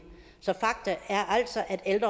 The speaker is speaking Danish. alt